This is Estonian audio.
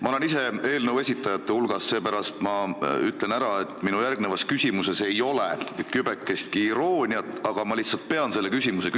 Ma olen ise eelnõu esitajate hulgas, seepärast ütlen ära, et minu järgnevas küsimuses ei ole kübekestki irooniat, aga ma lihtsalt pean seda küsima.